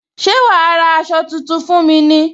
Ṣé wá ra aṣọ tuntun fún mi ní